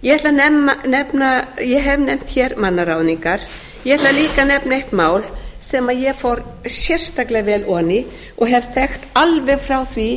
ég hef nefnt hér mannaráðningar ég ætla líka að nefna eitt mál sem ég fór sérstaklega vel ofan í og hef þekkt alveg frá því